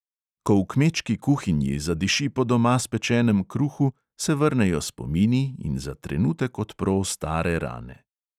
Ko v kmečki kuhinji zadiši po doma spečenem kruhu, se vrnejo spomini in za trenutek odpro stare rane.